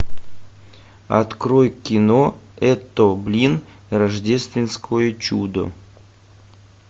открой кино это блин рождественское чудо